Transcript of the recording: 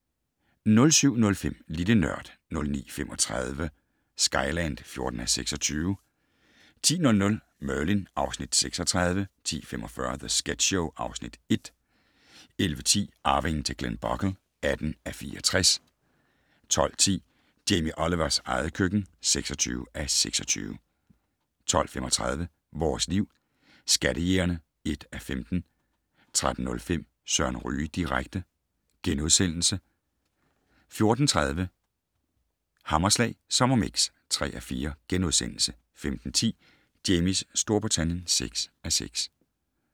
07:05: Lille Nørd 09:35: Skyland (14:26) 10:00: Merlin (Afs. 36) 10:45: The Sketch Show (Afs. 1) 11:10: Arvingen til Glenbogle (18:64) 12:10: Jamie Olivers eget køkken (26:26) 12:35: Vores Liv: Skattejægerne (1:15) 13:05: Søren Ryge direkte * 14:30: Hammerslag Sommermix (3:4)* 15:10: Jamies Storbritannien (6:6)